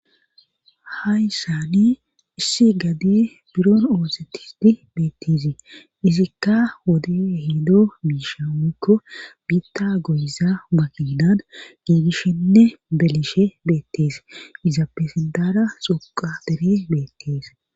Ha yssaani issi gade buron oosettisti beettizi izikka wode hido biisha ikko biitta goyiza maqinan giibishenne belishe beettees iza pesendara xoqa bere beettees.